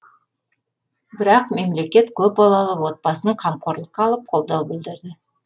бірақ мемлекет көпбалалы отбасын қамқорлыққа алып қолдау білдірді